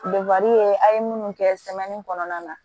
a' ye munnu kɛ kɔnɔna na